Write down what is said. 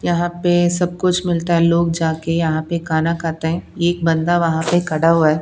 यहां पे सब कुछ मिलता है लोग जाके यहां पे खाना खाते हैं एक बंदा वहां पे खड़ा हुआ है।